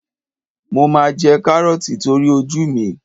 Mo máa jẹ Kárọ́ọ̀tì nítorí ojú mi.